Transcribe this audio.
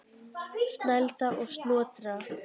Snælda er Snotra